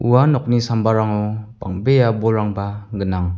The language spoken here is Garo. ua nokni sambarango bang·bea bolrangba gnang.